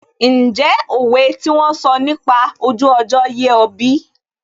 Ǹjẹ́ òwe tí wón sọ nípa ojú ọjọ́ yé ọ bí?